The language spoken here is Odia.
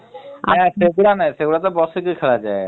ସେଗୁଡାନା ସେଗୁଡା ତ ବସିକି ଖେଳାଯାଏ ।